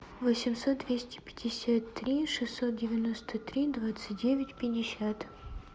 восемьсот двести пятьдесят три шестьсот девяносто три двадцать девять пятьдесят